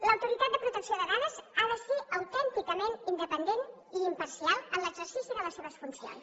l’autoritat de protecció de dades ha de ser autènticament independent i imparcial en l’exercici de les seves funcions